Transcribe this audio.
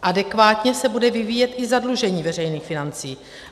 Adekvátně se bude vyvíjet i zadlužení veřejných financí.